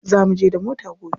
Za muje da mota gobe.